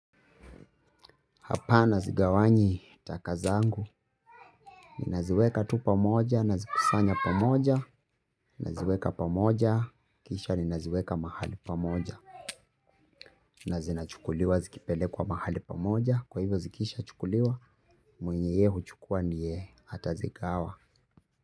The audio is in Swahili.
Hapa nazigawanyi taka zangu, ninaziweka tu pamoja, nazikusanya pamoja, naziweka pamoja, kisha ninaziweka mahali pamoja. Na zinachukuliwa zikipelekwa mahali pamoja, kwa hivyo zikishachukuliwa, mwenye yeye huchukua ndiye atazigawa.